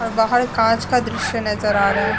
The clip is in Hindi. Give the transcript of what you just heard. और बाहर कांच का दृश्य नजर आ रहा है।